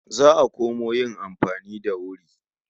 Za a komo yin amfani da wuri.